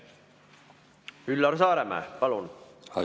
Üllar Saaremäe, palun!